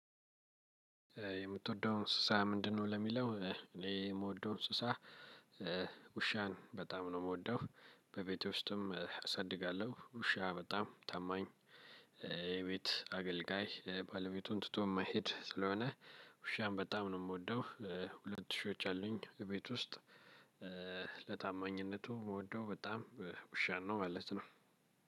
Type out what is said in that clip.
የምትወደው እንስሳ ምንድነው? ለሚለው እኔ የምወደው እንስሳ ውሻን በጣም ነው የምወደው። በቤቴ ውስጥም አሳድጋለሁ። ውሻ በጣም ታማኝ የቤት አገልጋይ ባለቤቱን ትቶ የማይሄድ ስለሆነ ውሻን በጣም ነው የምወደው። ሁለት ውሾች አሉኝ ቤት ውስጥ ለታማኝነቱ የምወደው በጣም ውሻ ነው ማለት ነው።